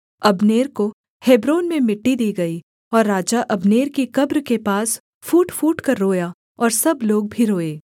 Abner को Hebron में मिट्टी दी गई और राजा अब्नेर की कब्र के पास फूट फूटकर रोया और सब लोग भी रोए